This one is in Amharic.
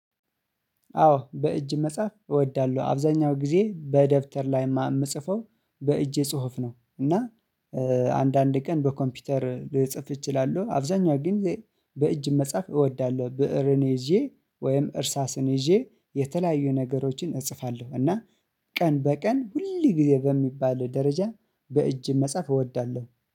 አዎ በእጅ መጽሐፍ እወዳለሁ አብዛኛው ጊዜ በደብተር ላይ የምጽፈው በእጄ ጽሁፍ ነው። እና አንዳንድ ቀን በኮምፒውተር ልጽፍ እችላለሁ አብዛኛው ግን በእጅ መጻፍ እወዳለሁ። ብእርን ይዤ ወይም እርሳስን ይዤ የተለያዩ ነገሮችን እጽፋለሁ እና ቀን በቀን ሁል ጊዜ በሚባል ደረጃ በእጅ መጻፍ እወዳለሁ